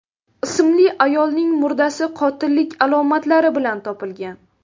ismli ayolning murdasi qotillik alomatlari bilan topilgan.